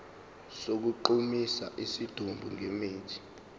sokugqumisa isidumbu ngemithi